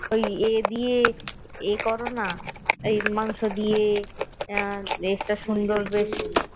ওই এ দিয়ে এ করোনা মাংস দিয়ে উম একটা সুন্দর বেশ